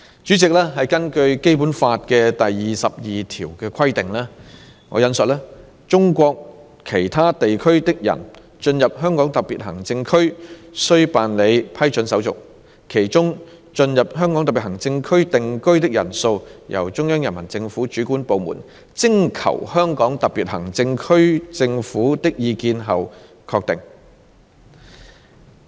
主席，根據《基本法》第二十二條的規定，"中國其他地區的人進入香港特別行政區須辦理批准手續，其中進入香港特別行政區定居的人數由中央人民政府主管部門徵求香港特別行政區政府的意見後確定。